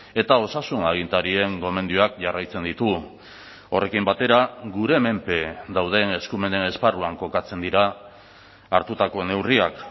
eta osasun agintarien gomendioak jarraitzen ditugu horrekin batera gure menpe dauden eskumenen esparruan kokatzen dira hartutako neurriak